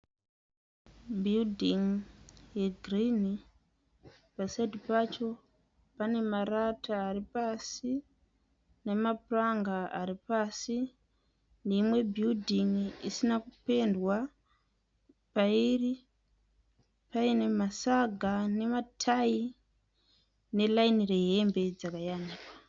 Bhiridhingi yegirinhi. Pasaidhi pacho pane marata ari pasi nemapuranga ari pasi neimwe bhiridhingi isina kupendwa. Pairi paine masaga nematayi neraini rehembe dzakayanikwa.